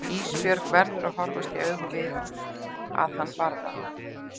Ísbjörg verður að horfast í augu við að hann barði hana.